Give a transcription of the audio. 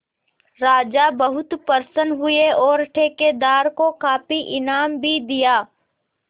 राजा बहुत प्रसन्न हुए और ठेकेदार को काफी इनाम भी दिया